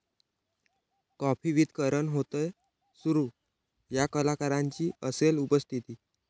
coffee with Karan' होतोय सुरू, 'या' कलाकारांची असेल उपस्थिती